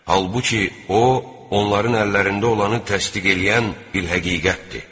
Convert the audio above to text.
Halbuki, o, onların əllərində olanı təsdiq eləyən bir həqiqətdir.